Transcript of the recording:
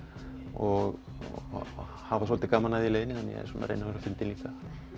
og hafa svolítið gaman af því í leiðinni reyna að vera fyndinn líka